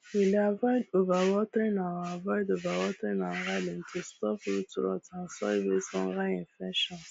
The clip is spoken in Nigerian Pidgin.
we dey avoid overwatering our avoid overwatering our garden to stop root rot and soil based fungal infections